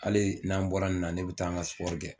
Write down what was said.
Hali n'an bɔra nin na ne bɛ taa an ka kɛ